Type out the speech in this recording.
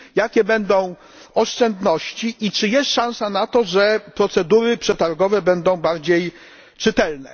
Jakie będą oszczędności i czy jest szansa na to, że procedury przetargowe staną się bardziej czytelne?